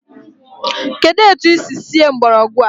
Kedụ etu i si sie mgbọrọgwụ a?